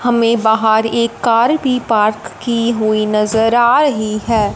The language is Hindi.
हमें बाहर एक कार भी पार्क की हुई नजर आ रही है।